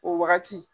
O wagati